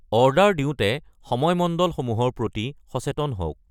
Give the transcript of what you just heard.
Order দিওঁতে সময় মণ্ডলসমূহৰ প্ৰতি সচেতন হওক।